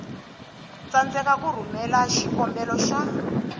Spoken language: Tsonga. tsandzeka ku rhumela xikombelo xa